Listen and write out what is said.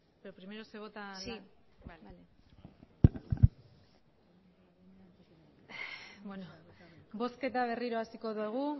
bozketa berriro hasiko dugu